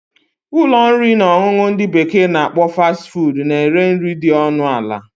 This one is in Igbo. Ụlọ nri na ọṅụṅụ ndị bekee na akpọ 'Fast food' na ere nri dị ọnụ ala